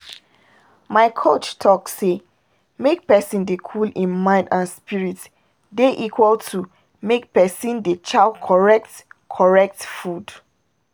my coach talk say make person dey cool hin mind and spirit dey equal to make pesin dey chow correct correct food.